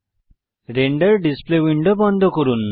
render display window বন্ধ করুন